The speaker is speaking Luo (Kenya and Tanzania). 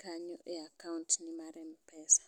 kanyo e akaunt no mar mpesa.